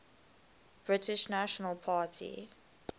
british national party